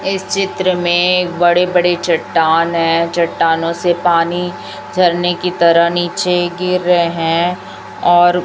इस चित्र में एक बड़ी बड़ी चट्टान है चट्टानों से पानी झरने की तरह नीचे गिर रहे हैं और--